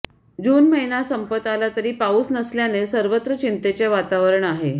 जून महिना संपत आला तरी पाऊस नसल्याने सर्वत्र चिंतेचे वातावरण आहे